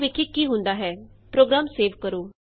ਆਉ ਵੇਖੀਏ ਕੀ ਹੁੰਦਾ ਹੈ ਪ੍ਰੋਗਰਾਮ ਸੇਵ ਕਰੋ